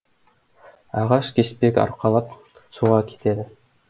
ағаш кеспек арқалап суға кетеді